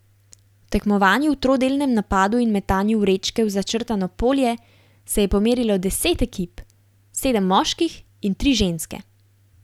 V tekmovanju v trodelnem napadu in metanju vrečke v začrtano polje se je pomerilo deset ekip, sedem moških in tri ženske.